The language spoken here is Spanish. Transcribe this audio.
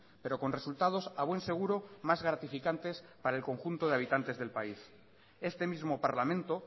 pero con resultados a buen seguro más gratificantes para el conjunto de habitantes del país este mismo parlamento